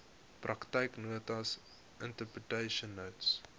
praktyknotas interpretation notes